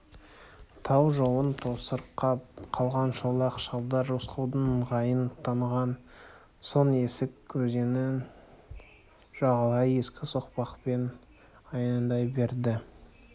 тау жолын тосырқап қалған шолақ шабдар рысқұлдың ыңғайын таныған соң есік өзенін жағалай ескі соқпақпен аяңдай берді